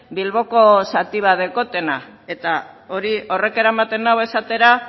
bilboko zati dat dutena eta horrek eramaten nau esatera